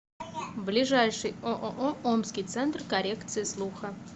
ближайший ооо омский центр коррекции слуха